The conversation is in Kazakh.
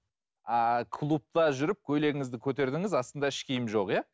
ааа клубта жүріп көйлегіңізді көтердіңіз астында іш киім жоқ иә